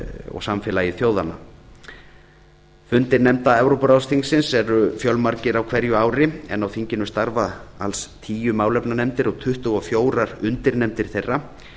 og samfélagi þjóðanna fundir nefnda evrópuráðsþingsins eru fjölmargir á hverju ári en á þinginu starfa alls tíu málefnanefndir og tuttugu og fjögur undirnefndir þeirra